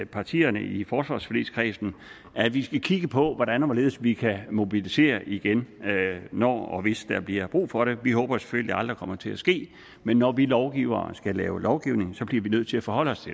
partierne i forsvarsforligskredsen at vi skal kigge på hvordan og hvorledes vi kan mobilisere igen når og hvis der bliver brug for det vi håber selvfølgelig aldrig det kommer til at ske men når vi lovgivere skal lave lovgivning bliver vi nødt til at forholde os